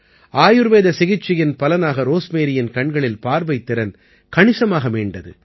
ஆயுர்வேத சிகிச்சையின் பலனாக ரோஸ்மேரியின் கண்களில் பார்வைத்திறன் கணிசமாக மீண்டது